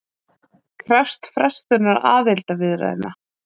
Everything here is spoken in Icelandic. Krefst frestunar aðildarviðræðna